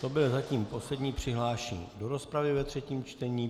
To byl zatím poslední přihlášený do rozpravy ve třetím čtení.